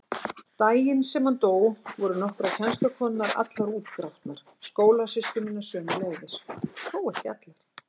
Daginn sem hann dó voru nokkrar kennslukonurnar allar útgrátnar, skólasystur mínar sömuleiðis, þó ekki allar.